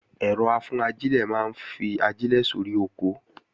Ẹ̀rọ-afúnajílẹ̀ la fi máa ń fi ajílẹ̀ sóri oko